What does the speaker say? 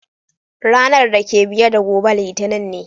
Ranan dake biye da gobe Litinin ne.